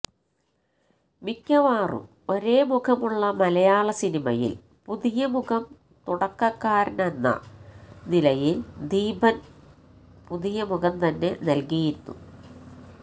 മിക്കവാറും ഒരേ മുഖമുള്ള മലയാള സിനിമയില് പുതിയ മുഖം തുടക്കക്കാരനെന്ന നിലയില് ദീപന് പുതിയ മുഖം തന്നെ നല്കിയിരുന്നു